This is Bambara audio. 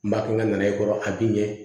N b'a kɛ n ka na ye kɔrɔ a bɛ ɲɛ